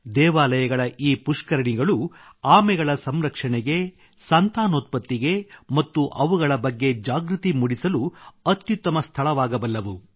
ದೇವಾಲಯಗಳ ಈ ಪುಷ್ಕರಣಿಗಳು ಆಮೆಗಳ ಸಂರಕ್ಷಣೆಗೆ ಸಂತಾನೋತ್ಪತ್ತಿಗೆ ಮತ್ತು ಅವುಗಳ ಬಗ್ಗೆ ಜಾಗೃತಿ ಮೂಡಿಸಲು ಅತ್ಯುತ್ತಮ ಸ್ಥಳವಾಗಬಲ್ಲವು